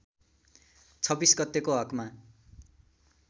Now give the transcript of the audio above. २६ गतेको हकमा